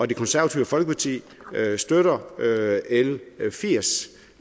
det konservative folkeparti støtter l firs